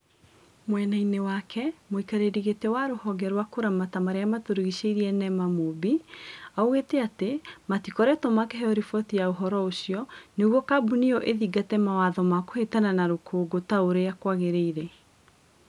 Mwena-ini wake muikariri giti wa ruhonge rwa kuramata maria maturigiciirie Nema, Mumbi, augite ati matikoretwo makiheo riboti ya uhoro ucio niguo kambuni iyo ithingate mawatho ma kuhitana na rũkũngũ ta uria kwagiriire.